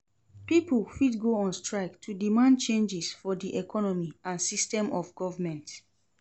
Pipo fit go on strike to demand changes for di economy and system of government